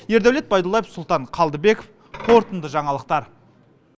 ердәулет байдуллаев сұлтан қалдыбеков қорытынды жаңалықтар